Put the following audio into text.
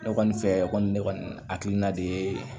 Ne kɔni fɛ kɔni ne kɔni hakilina de ye